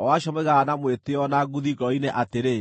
o acio moigaga na mwĩtĩĩo na nguthi ngoro-inĩ atĩrĩ,